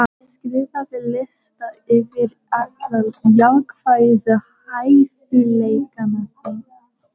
Skrifaðu lista yfir alla jákvæðu hæfileikana þína.